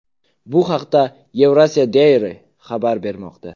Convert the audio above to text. Bu haqda Eurasia Diary xabar bermoqda .